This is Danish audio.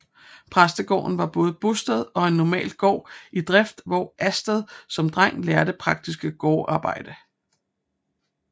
Præstegården var både bosted og en normal gård i drift hvor Astrup som dreng lærte praktisk gårdarbejde